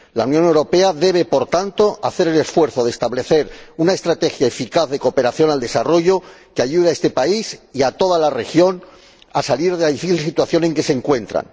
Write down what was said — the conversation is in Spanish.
La Unión Europea debe, por tanto, hacer el esfuerzo de establecer una estrategia eficaz de cooperación al desarrollo que ayude a este país y a toda la región a salir de la difícil situación en que se encuentra.